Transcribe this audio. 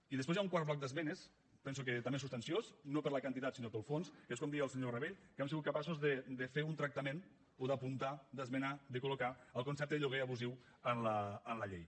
i després hi ha un quart bloc d’esmenes penso que també substanciós no per la quantitat sinó pel fons que és com deia el senyor rabell que hem sigut capaços de fer un tractament o d’apuntar d’esmenar de col·locar el concepte de lloguer abusiu en la llei